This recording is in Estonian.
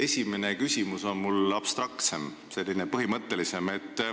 Esimene küsimus on mul abstraktsem, selline põhimõttelisem.